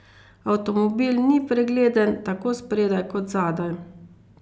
Avtomobil ni pregleden, tako spredaj kot zadaj.